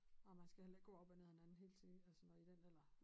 Og man skal heller ikke gå op og ned af hinanden hele tiden altså når i den alder